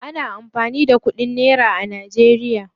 Ana amfani da kudin nera ne najeriya.